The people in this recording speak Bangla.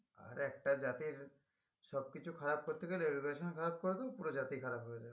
আর একটা জাতির সব কিছু খারাপ করতে গেলে education ও খারাপ করে দিবো পুরো জাতি খারাপ হয়ে যাবে